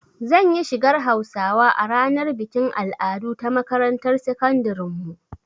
Zan yi shigar Hausawa a ranar bikin al'adu ta makarantar sakandiren mu